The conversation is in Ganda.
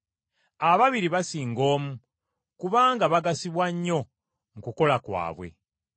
Ababiri basinga omu, kubanga bagasibwa nnyo mu kukola kwabwe.